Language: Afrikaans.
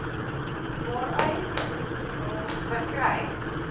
waaruit materiaal verkry